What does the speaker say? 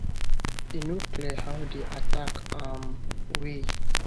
e no clear how di attack um wey